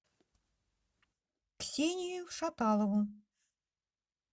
ксению шаталову